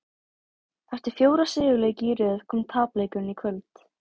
Eftir fjóra sigurleiki í röð kom tapleikurinn í kvöld.